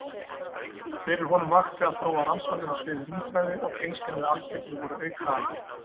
Fyrir honum vakti að þróa rannsóknir á sviði rúmfræði og tengslin við algebru voru aukaafurð.